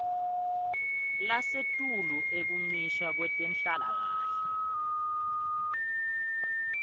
lasetulu ekuncishwa kwetenhlalakahle